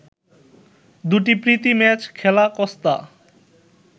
দুটি প্রীতি ম্যাচ খেলা কস্তা